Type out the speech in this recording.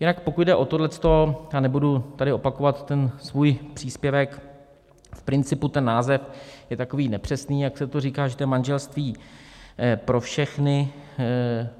Jinak pokud jde o tohle, a nebudu tady opakovat ten svůj příspěvek, v principu ten název je takový nepřesný, jak se to říká, že to je manželství pro všechny.